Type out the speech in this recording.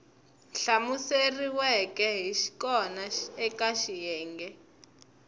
hlamuseriweke hi kona eka xiyenge